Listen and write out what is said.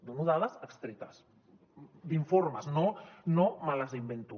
dono dades extretes d’informes no me les invento